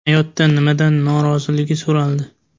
Hayotda nimadan norozligi so‘raldi.